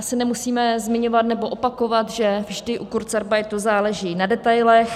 Asi nemusíme zmiňovat nebo opakovat, že vždy u kurzarbeitu záleží na detailech.